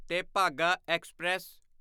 Tebhaga express